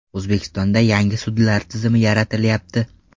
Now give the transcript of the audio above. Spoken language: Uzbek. O‘zbekistonda yangi sudlar tizimi yaratilyapti.